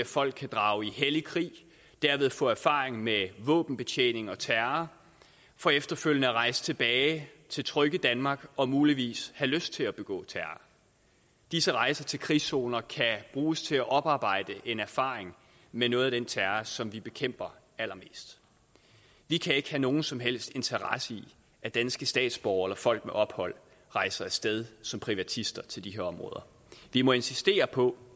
folk kan drage i hellig krig og derved få erfaring med våbenbetjening og terror for efterfølgende at rejse tilbage til trygge danmark og muligvis have lyst til at begå terror disse rejser til krigszoner kan bruges til at oparbejde en erfaring med noget af den terror som vi bekæmper allermest vi kan ikke have nogen som helst interesse i at danske statsborgere eller folk med ophold rejser af sted som privatister til de her områder vi må insistere på